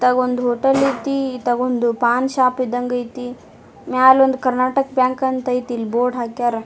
ಇತ್ತಗೊಂದು hotel ಆಯ್ತಿ ಇತ್ತಗೊಂದು paan shop ಇದ್ದಂಗ್ ಆಯ್ತಿ ಮ್ಯಾಲ್ ಒಂದು ಕರ್ನಾಟಕ ಬ್ಯಾಂಕ್ ಅಂತ ಆಯ್ತಿ ಇಲ್ಲಿ ಬೋರ್ಡ್ ಹಾಕ್ಯಾರ್ .